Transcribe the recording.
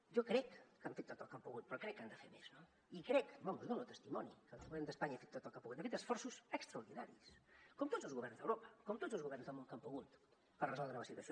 jo crec que han fet tot el que han pogut però crec que han de fer més no i crec en dono testimoni que el govern d’espanya ha fet tot el que ha pogut ha fet esforços extraordinaris com tots els governs d’europa com tots els governs del món que han pogut per resoldre la situació